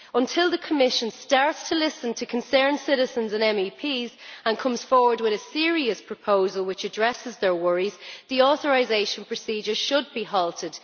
Until the Commission starts to listen to concerned citizens and MEPs and comes forward with a serious proposal which addresses their worries, the authorisation procedure should be halted.